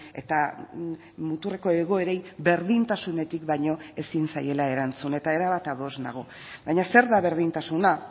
eta muturreko egoerei berdintasunetik baino ezin zaiela erantzun eta erabat ados nago baina zer da berdintasuna